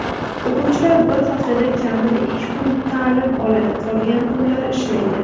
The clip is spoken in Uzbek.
O‘quvchilar bir haftada kamida ikki kun ta’lim oladi qolgan kunlar ishlaydi.